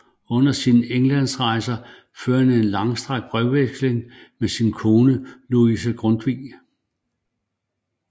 Under sine Englandsrejser fører han en langstrakt brevveksling med sin kone Lise Grundtvig